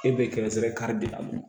E bɛ kɛrɛnkɛrɛn kari de a la